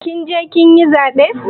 Kin je kin yi zaɓe?